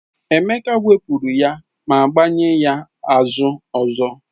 Emeka wepụrụ ya ma gbanye ya azụ ọzọ.